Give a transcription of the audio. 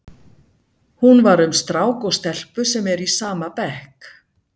Hún var um strák og stelpu sem eru í sama bekk.